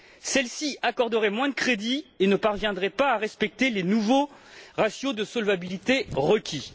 Celles ci accorderaient moins de crédits et ne parviendraient pas à respecter les nouveaux ratios de solvabilité requis.